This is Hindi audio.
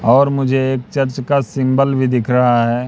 और मुझे एक चर्च का सिंबल भी दिख रहा है।